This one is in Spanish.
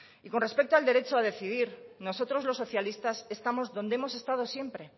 y con respecto en el derecho a decidir nosotros los socialistas estamos donde hemos estado siempre